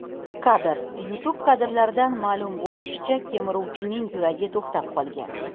Kadr: YouTube Kadrlardan ma’lum bo‘lishicha, kemiruvchining yuragi to‘xtab qolgan.